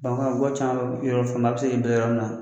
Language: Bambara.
Bamakɔ yan ga caman yɔrɔ a bɛ se k'i bɛlɛn yɔrɔ min na